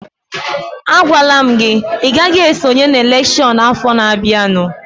A gwala m gị, ị gaghị esonye n'elekshọn afọ na-bịanụ!